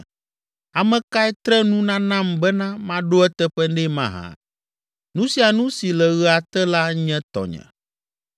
Ame kae tre nu nanam bena maɖo eteƒe nɛ mahã? Nu sia nu si le ɣea te la nye tɔnye.